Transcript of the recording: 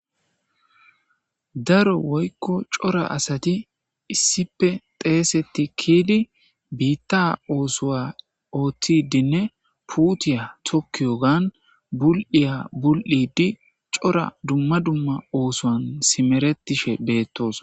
Daro woykko cora asati issipe xeeseti kiidi biitta oosowa oottidinne puutiya tokkiyo gan bul'iya bul'idi cora dumma dumma oosowan simeretishe beettos